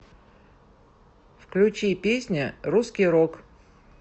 включи песня русский рок